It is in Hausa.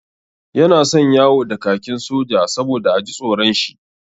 Yana son yawo da kakin soja saboda a ji tsoron shi.